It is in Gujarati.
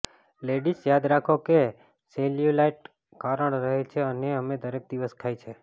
લેડિઝ યાદ રાખો કે સેલ્યુલાઇટ કારણ રહે છે અને અમે દરેક દિવસ ખાય છે